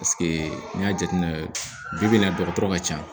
n'i y'a jateminɛ bi na dɔgɔtɔrɔ ka ca